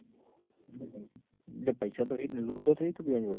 પૈસા તો રે જ ને થઇ એક ને